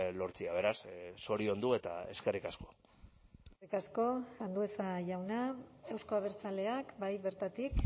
lortzea beraz zoriondu eta eskerrik asko eskerrik asko andueza jauna euzko abertzaleak bai bertatik